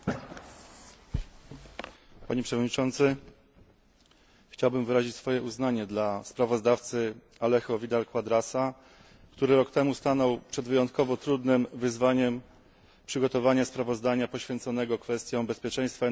Chciałbym wyrazić uznanie dla sprawozdawcy Alejo Vidala Quadrasa, który rok temu stanął przed wyjątkowo trudnym wyzwaniem przygotowania sprawozdania poświęconego kwestiom bezpieczeństwa energetycznego w zakresie zapewnienia dostaw gazu do Unii Europejskiej.